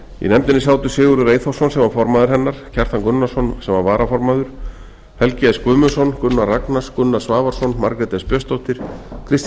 í nefndinni sátu sigurður eyþórsson sem var formaður hennar kjartan gunnarsson sem var varaformaður nefndarinnar helgi s guðmundsson gunnar ragnars gunnar svavarsson margrét s björnsdóttir kristín